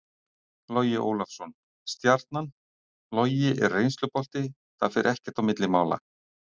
Logi Ólafsson- Stjarnan Logi er reynslubolti, það fer ekkert á milli mála.